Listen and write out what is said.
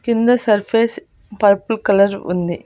కింద surface purple colour ఉంది.